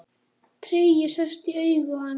Tregi sest í augu hans.